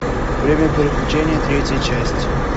время приключений третья часть